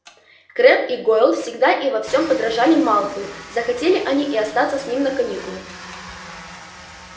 крэбб и гойл всегда и во всем подражали малфою захотели они и остаться с ним на каникулы